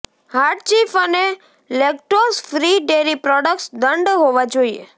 hard cheese અને lactose free dairy products દંડ હોવા જોઈએ